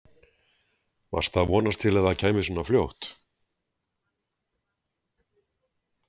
Varstu að vonast til að það kæmi svona fljótt?